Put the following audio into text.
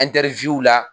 la